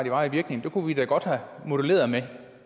i varig virkning kunne vi da godt have moduleret med